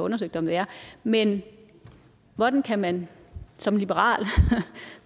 undersøgt om det er men hvordan kan man som liberal